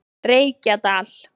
Reykjadal